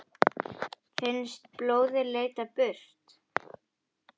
Finnst blóðið leita burt.